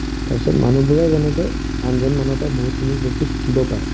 তাৰপিছত মানুহবোৰে যেনেকে আনজন মানুহৰ পৰা বহুতখিনি বস্তু শিকিব পাৰে